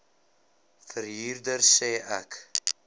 verhuurder sê ek